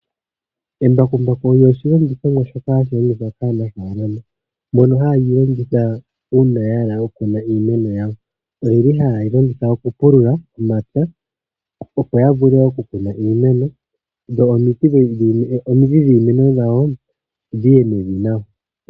Embakumbaku olyo oshilongithomwa shoka ha shi longithwa kaanafalama mono haye li longitha uuna ya hala okukuna iimeno yawo. Oyi li haye li longitha okupulula omapya opo ya vule okukuna iimeno dho omidhi dhiimeno yawo dhi ye mevi nawa.